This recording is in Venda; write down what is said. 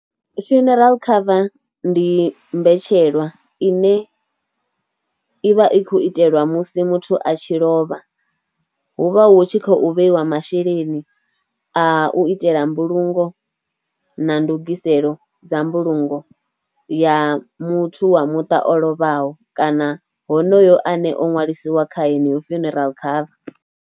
Funeral cover ndi mbetshelwa ine ivha i khoU itelwa musi muthu a tshi lovha, hu vha hu tshi khou vheiwa masheleni a u itela mbulungo, na ndugiselo dza mbulungo ya muthu wa muṱa o lovhaho, kana honoyo ane o ṅwalisiwa kha yeneyo funeral cover.